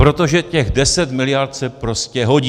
Protože těch 10 miliard se prostě hodí.